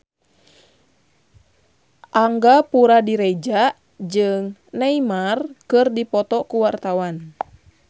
Angga Puradiredja jeung Neymar keur dipoto ku wartawan